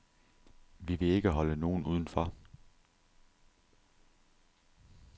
Vi vil ikke holde nogen udenfor.